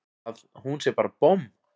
Að hún sé bara bomm!